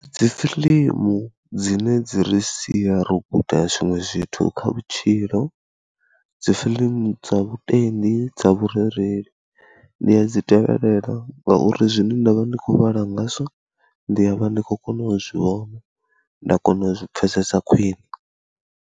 Dzi film dzine dzi ri sia ro guda zwiṅwe zwithu kha vhutshilo, dzi fiḽimu dza vhutendi, dza vhurereli, ndi a dzi tevhelela ngauri zwine nda vha ndi khou vhala ngazwo, ndi a vha ndi khou kona u zwi vhona nda kona u zwi pfhesesa khwiṋe.